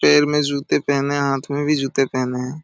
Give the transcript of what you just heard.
पैर में जूते पहने है हाथ में भी जूते पहने हैं।